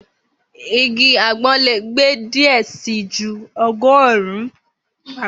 Igi agbon le gbe diẹ sii ju ọgọrun-un agbon.